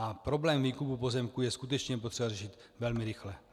A problém výkupu pozemků je skutečně potřeba řešit velmi rychle.